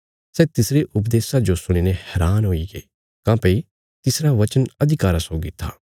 सै तिसरे उपदेशा जो सुणीने हैरान हुईगे काँह्भई तिसरा वचन अधिकारा सौगी था